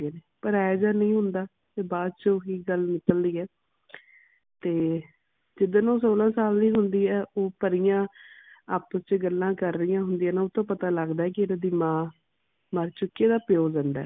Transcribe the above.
ਪਰ ਇਹੋ ਜਾ ਨਹੀਂ ਹੁੰਦਾ ਵੀ ਬਾਦ ਚੋ ਗੱਲ ਹੁੰਦੀ ਹੈ ਤੇ ਜਿਸ ਦਿਨ ਉਹ ਸੋਲਾਂ ਸਾਲ ਦੀ ਹੁੰਦੀ ਹੈ ਉਹ ਪਰੀਆਂ ਆਪਸ ਚ ਗਲਾ ਕਰਦੀ ਹੁੰਦੀਆਂ ਨੇ ਉਸ ਤੋਂ ਪਤਾ ਲੱਗਦਾ ਹੈ ਕਿ ਉਸ ਦੀ ਮਾਂ ਮਰ ਚੁਕੀ ਤੇ ਪਿਓ ਜਿੰਦਾ ਹੈ